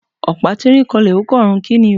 Opa tirín kànlẹ, o kan òrún, ki ní o?